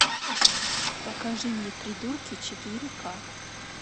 покажи мне придурки четыре ка